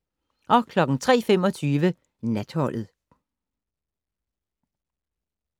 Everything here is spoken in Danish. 03:25: Natholdet